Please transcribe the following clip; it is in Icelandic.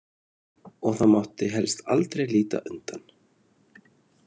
Og það mátti helst aldrei líta undan.